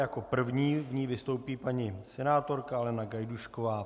Jako první v ní vystoupí paní senátorka Alena Gajdůšková.